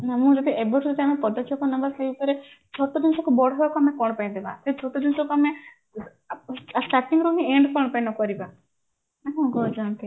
ଏବେଠୁ ଯଦି ଆମେ ପଦକ୍ଷେପ ନବା ସେଇ ଉପରେ ଛୋଟ ଜିନିଷକୁ ବଡ ହବାକୁ କଣ ପାଇଁ ଦେବା ସେଇ ଛୋଟ ଜିନିଷକୁ ଆମେ starting ଆମେ end କଣ ପାଇଁ ନ କରିବା ନା କଣ କହୁଛନ୍ତି